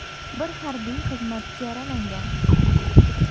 Bir harbiy xizmatchi yaralangan.